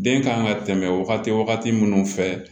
Den kan ka tɛmɛ wagati wagati minnu fɛ